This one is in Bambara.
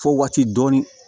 Fo waati dɔɔnin